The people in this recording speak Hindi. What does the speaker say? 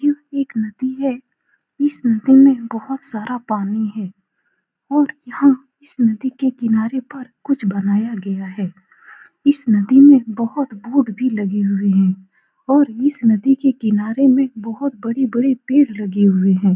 यह एक नदी है। इस नदी में बहुत सारा पानी है। और यहाँ इस नदी के किनारे पर कुछ बनाया गया है। इस नदी में बहोत बोट भी लगी हुई है। और इस नदी के किनारे में बहोत बड़ी-बड़ी पेड़ लगी हुए है।